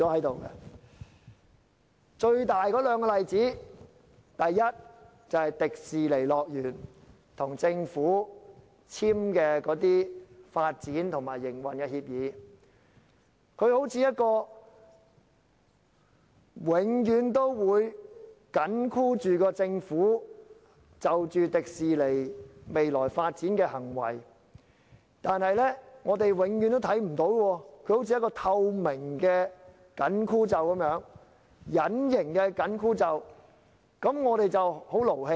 兩個重大例子是，第一，迪士尼樂園與政府簽署的發展及營運協議，它永遠緊箍着政府對迪士尼樂園未來的發展，但我們永遠看不到它，好像一個透明的、隱形的"緊箍咒"，令我們感到很氣憤。